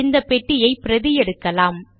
இந்த பெட்டியை பிரதி எடுக்கலாம்